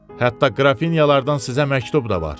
Hətta Qrafinyalardan sizə məktub da var.